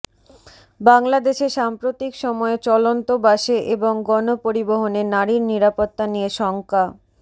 বাংলাদেশে সাম্প্রতিক সময়ে চলন্ত বাসে এবং গণপরিবহনে নারীর নিরাপত্তা নিয়ে শঙ্কা